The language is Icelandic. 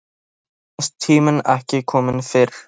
Mér fannst tíminn ekki kominn fyrr.